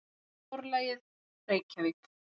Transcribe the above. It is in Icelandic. Forlagið: Reykjavík.